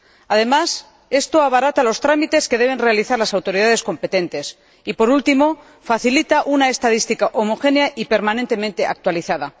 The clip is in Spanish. Además, esto abarata los trámites que deben realizar las autoridades competentes y, por último, facilita una estadística homogénea y permanentemente actualizada.